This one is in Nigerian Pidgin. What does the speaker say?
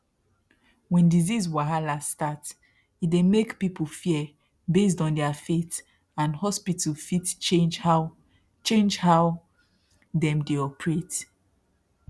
when disease wahala start e dey make people fear based on their faith and hospital fit change how change how dem dey operate